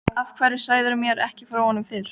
Er þá í raun um endurgreiðslu hlutafjárins að ræða.